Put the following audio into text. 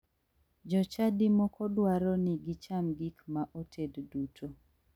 Jochadi moko dwaro ni gicham gik ma oted duto.